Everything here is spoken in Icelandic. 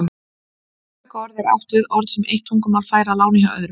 Með tökuorðum er átt við orð sem eitt tungumál fær að láni hjá öðru.